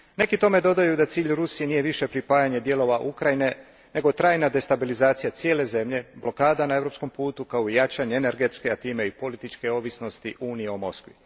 Neki tome dodaju da cilj Rusije nije više pripajanje dijelova Ukrajine nego trajna destabilizacija cijele zemlje, blokada na europskom putu kao i jačanje energetske, a time i političke ovisnosti Unije o Moskvi.